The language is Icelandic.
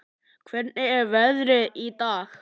Hvernig er veðrið í dag?